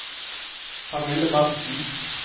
Pernille Berntsen